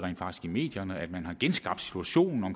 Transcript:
i medierne at man har genskabt situationen